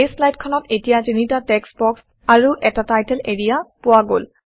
এই শ্লাইডখনত এতিয়া তিনিটা টেক্সট্ বক্স আৰু এটা টাইটেল এৰিয়া পোৱা গল